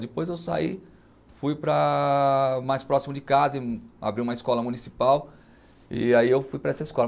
Depois eu saí, fui para mais próximo de casa, abri uma escola municipal e aí eu fui para essa escola.